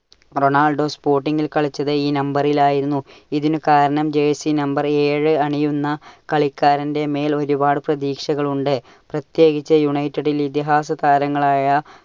Ronaldo Sporting ൽ കളിച്ചത് ഈ number ലായിരുന്നു. ഇതിനുകാരണം jersey number ഏഴ് അണിയുന്ന കളിക്കാരന്റെ മേൽ ഒരുപാടു പ്രതീക്ഷകളുണ്ട്. പ്രത്യേകിച്ച് united ലെ ഇതിഹാസ താരങ്ങളായ